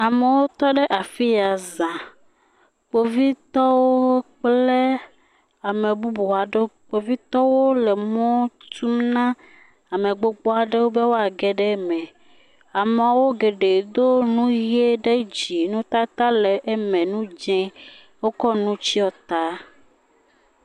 Amewo tɔ ɖe afi ya za. Kpovitɔwo kple ame bubu aɖewo. Kpovitɔwo le emɔ tum na ame gbogbo aɖewo be woage ɖe eme. Ameawo geɖe do enu ʋe ɖe dzi. Nutata le eme, nu dzɛ̃, wokɔ nu tsyɔ ta.